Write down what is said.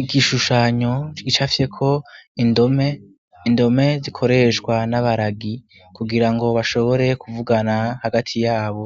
Igishushanyo tgica fye ko indome zikoreshwa n'abaragi kugira ngo bashobore kuvugana hagati yabo